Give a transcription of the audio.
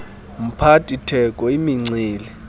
mphathi theko imincili